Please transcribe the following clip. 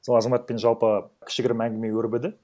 сол азаматапен жалпы кішігірім әңгіме өрбіді